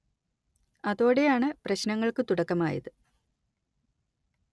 അതോടെയാണ് പ്രശ്നങ്ങൾക്കു തുടക്കമായത്